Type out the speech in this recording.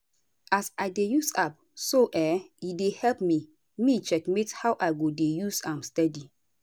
as i dey use app so[um]e dey help me me checkmate how i go dey use am steady